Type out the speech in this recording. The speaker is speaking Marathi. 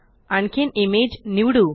आणखीन इमेज निवडू